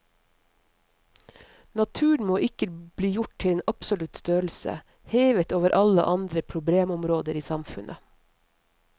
Naturen må ikke bli gjort til en absolutt størrelse, hevet over alle andre problemområder i samfunnet.